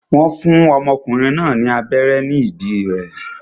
Wọ́n ọmọkùnrin náà ní abẹ́rẹ́ ní ìdí rẹ̀